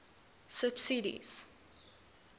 subsidies